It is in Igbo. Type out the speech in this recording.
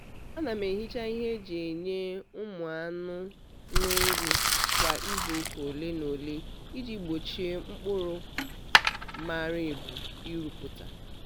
ana m ehicha ihe e ji enye ụmụ nnụnụ nri kwa izuụka ole na ole iji gbochie mkpụrụ mara ebu irupụta.